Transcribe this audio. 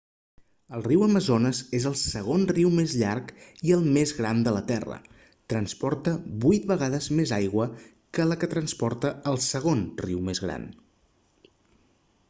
el riu amazones és el segon riu més llarg i el més gran de la terra transporta 8 vegades més aigua que la que transporta el segon riu més gran